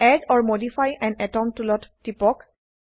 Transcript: add or modify আন আতম টুলত টিপক